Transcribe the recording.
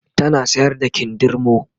tana sayar da kindirmo